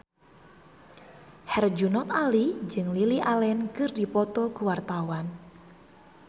Herjunot Ali jeung Lily Allen keur dipoto ku wartawan